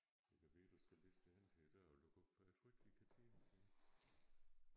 Det kan være du skal liste hen til æ dør og lukke op for jeg tror ikke de kan tænde herinde